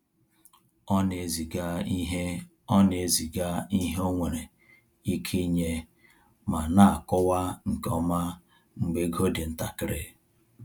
Ọ na-eziga ihe Ọ na-eziga ihe ọ nwere ike inye ma na-akọwa nke ọma mgbe ego dị ntakịrị.